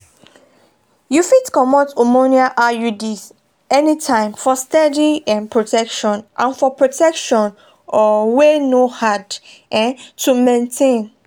you fit comot hormonal iuds anytime for steady um protection and for protection um wey no hard um to maintain.